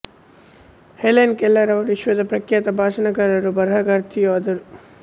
Helen Keller ಅವರು ವಿಶ್ವದ ಪ್ರಖ್ಯಾತ ಭಾಷಣಕಾರರೂ ಬರಹಗಾರ್ತಿಯೂ ಆದರು